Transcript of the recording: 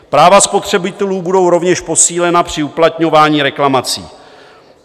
Práva spotřebitelů budou rovněž posílena při uplatňování reklamací.